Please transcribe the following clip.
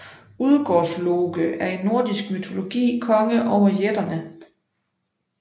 Udgårdsloke er i nordisk mytologi konge over jætterne